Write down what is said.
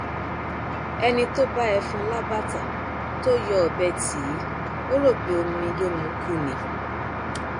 ẹni tó bá ẹfọn lábàtà tó yọ ọbẹ tí ì ò rò pé omi ló mu kú ni